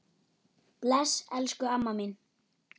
Bless, elsku amma mín.